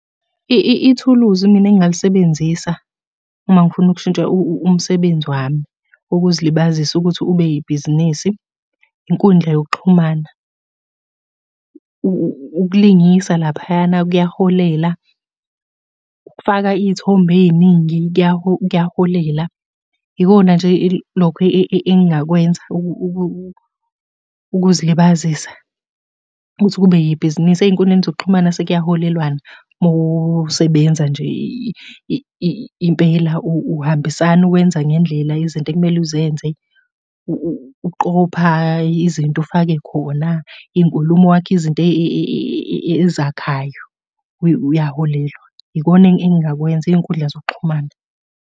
Ithuluzi mina engingalisebenzisa uma ngifuna ukushintsha umsebenzi wami, ukuzilibazisa ukuthi ube yibhizinisi, inkundla yokuxhumana. Ukulingisa laphayana kuyaholela. Ukufaka iy'thombe ey'ningi kuyaholela. Yikona nje loko engingakwenza ukuzilibazisa ukuthi kube yibhizinisi. Ey'nkundleni zokuxhumana sekuyaholelwana uma usebenza nje impela uhambisana wenza ngendlela izinto okumele uzenze. Uqopha izinto ufake khona, iy'nkulumo wakhe izinto ezakhayo uyaholelwa. Ikona engingakwenza iy'nkundla zokuxhumana.